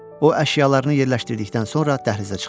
O əşyalarını yerləşdirdikdən sonra dəhlizə çıxdı.